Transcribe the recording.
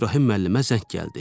İbrahim müəllimə zəng gəldi.